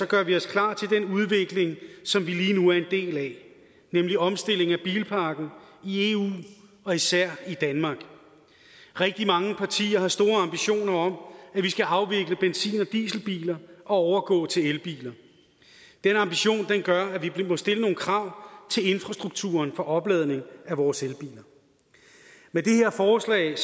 gør vi os klar til den udvikling som vi lige nu er en del af nemlig omstilling af bilparken i eu og især i danmark rigtig mange partier har store ambitioner om at vi skal afvikle benzin og dieselbiler og overgå til elbiler den ambition gør at vi må stille nogle krav til infrastrukturen for opladning af vores elbiler med det her forslag